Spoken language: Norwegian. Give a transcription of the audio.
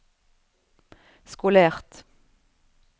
skolert